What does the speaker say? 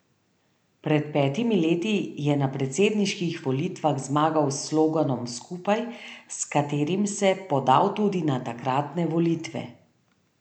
Pred petimi leti je na predsedniških volitvah zmagal s sloganom Skupaj, s katerim se podal tudi na tokratne volitve.